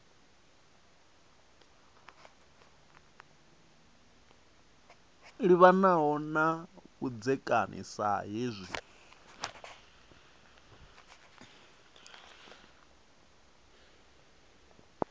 livhanaho na vhudzekani sa hezwi